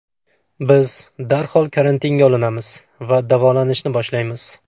Biz darhol karantinga olinamiz va davolanishni boshlaymiz.